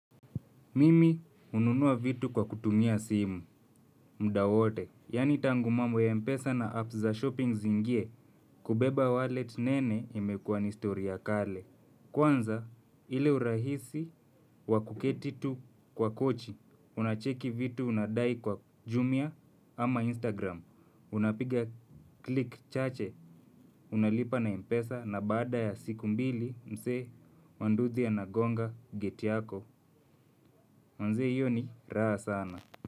Mimi hununua vitu kwa kutumia simu, muda wote. Yaani tangu mambo ya Mpesa na apps za shopping ziingie, kubeba wallet nene imekuwa ni stori ya kale. Kwanza, ile urahisi wa kuketi tu kwa kochi, unacheki vitu unadai kwa Jumia ama Instagram. Unapiga kile kichache, unalipa na Mpesa na baada ya siku mbili, msee wa nduthi anagonga gate yako. Manze hiyo ni, raha sana.